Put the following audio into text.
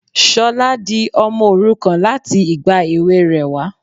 Sola di ọmọ òrukàn láti ìgbà èwe rè wá.